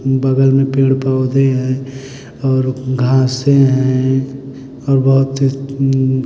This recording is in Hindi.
बगल में पेड़ पौधे हैं और घासे हैं और बहुत --